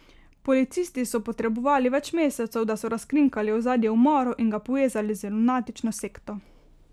Policisti so potrebovali več mesecev, da so razkrinkali ozadje umorov in ga povezali z lunatično sekto.